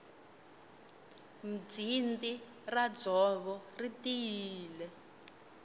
mbzindi ra ndzovo ri tiyile